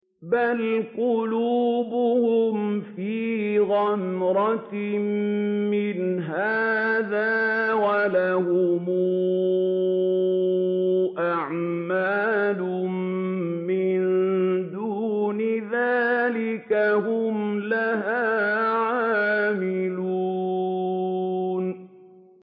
بَلْ قُلُوبُهُمْ فِي غَمْرَةٍ مِّنْ هَٰذَا وَلَهُمْ أَعْمَالٌ مِّن دُونِ ذَٰلِكَ هُمْ لَهَا عَامِلُونَ